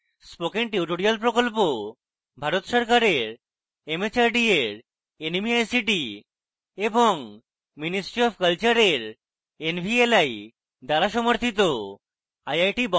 spoken tutorial project Bharat সরকারের mhrd এর nmeict এবং ministry অফ কলচারের nvli দ্বারা সমর্থিত